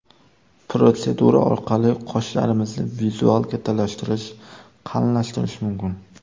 Protsedura orqali qoshlarimizni vizual kattalashtirish, qalinlashtirish mumkin.